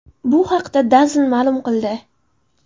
Bu haqda DAZN ma’lum qildi .